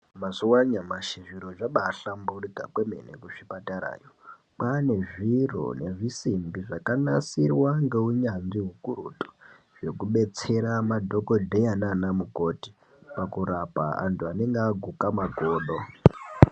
Mazuwa anyamashi zviro zvabahlamburika kwemene kuzvipatarayo kwane zviro nezvisimbi zvakanasirwa ngeunyanzvi ukurutu zvekubetsera madhokodheya nanamukoti pakurapa antu anenge aguke makodo.